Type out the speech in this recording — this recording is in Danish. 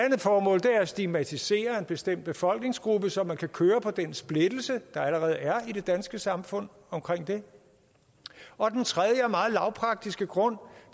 at stigmatisere en bestemt befolkningsgruppe så man kan køre på den splittelse der allerede er i det danske samfund omkring det og den tredje og meget lavpraktiske grund